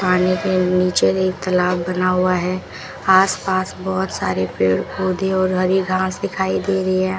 पानी के नीचे एक तालाब बना हुआ है आसपास बहुत सारे पेड़ पौधे और हरी घास दिखाई दे रही है।